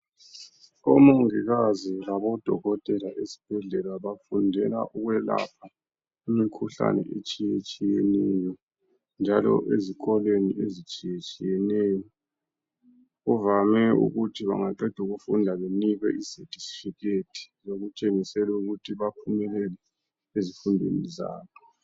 Omongikazi labodokotela esibhedlela bafundela ukwelapha imikhuhlane etshiyatshiyeneyo njalo lezikolo ezitshiyatshiyeneyo kuvame ukuthi bengaqeda ukufunda benikwe izethifikhethi ezitshengisela ukuthi baphumelele ezifundweni zabo.